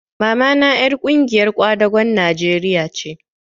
Mamata ƴar ƙungiyar kwadagon Najeriya ce